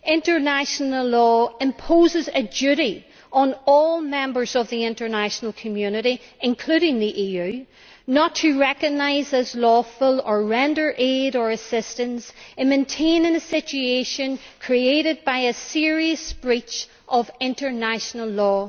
International law imposes a duty on all members of the international community, including the EU, not to recognise as lawful or render aid or assistance in maintaining a situation created by a serious breach of international law.